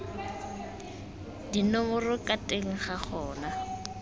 dinomoro ka teng ga gona